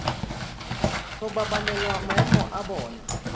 go babalela maemo a bona